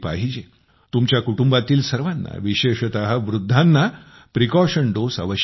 तुमच्या कुटुंबातील सर्वांना विशेषतः वृद्धांना ही सावधगिरीची मात्रा अवश्य द्या